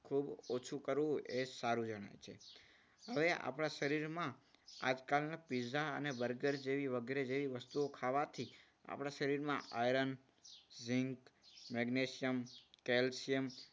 ખૂબ ઓછું કરવું એ સારું જણાય છે. હવે આપણા શરીરમાં આજકાલના પીઝા અને બર્ગર જેવી વગેરે જેવી વસ્તુઓ ખાવાથી આપણા શરીરમાં આયન ઝિંક મેગ્નેશિયમ કેલ્શિયમ જેવા